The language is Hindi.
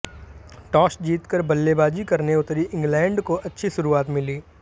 टॉस जीतकर बल्लेबाजी करने उतरी इंग्लैंड को अच्छी शुरुआत मिली